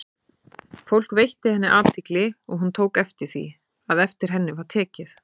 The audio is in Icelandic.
Fólk veitti henni athygli, og hún tók eftir því, að eftir henni var tekið.